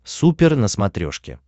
супер на смотрешке